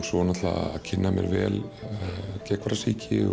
svo náttúrulega kynna mér vel geðhvarfasýki